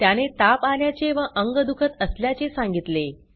त्याने ताप आल्याचे व अंग दुखत असल्याचे सांगितले